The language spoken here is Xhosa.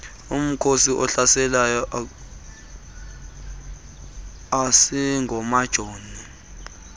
umkhosi ohlaselayo asingomajoni